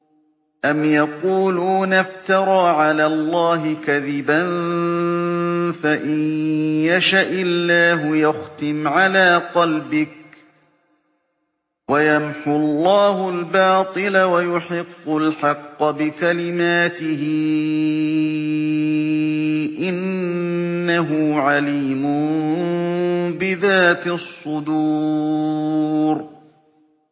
أَمْ يَقُولُونَ افْتَرَىٰ عَلَى اللَّهِ كَذِبًا ۖ فَإِن يَشَإِ اللَّهُ يَخْتِمْ عَلَىٰ قَلْبِكَ ۗ وَيَمْحُ اللَّهُ الْبَاطِلَ وَيُحِقُّ الْحَقَّ بِكَلِمَاتِهِ ۚ إِنَّهُ عَلِيمٌ بِذَاتِ الصُّدُورِ